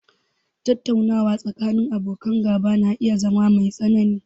Tattaunawa tsakanin abokan gaba na iya zama mai tsanani